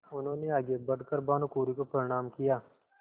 उन्होंने आगे बढ़ कर भानुकुँवरि को प्रणाम किया